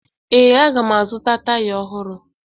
Ee, aga m azụta taya ọhụrụ